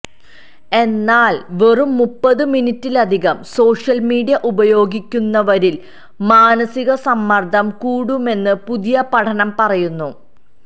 എന്നാല് വെറും മുപ്പത് മിനിറ്റിലധികം സോഷ്യല് മീഡിയ ഉപയോഗിക്കുന്നവരില് മാനിസക സമ്മര്ദ്ദം കൂടുമെന്ന് പുതിയ പഠനം പറയുന്നു